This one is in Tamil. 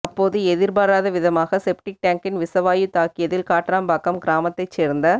அப்போது எதிர்பாராதவிதமாக செப்டிக் டேங்க்கின் விஷவாயு தாக்கியதில் காட்ராம்பாக்கம் கிராமத்தைச் சேர்ந்த